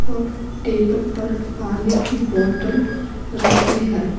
और टेबल पर पानी की बोतल रखी है।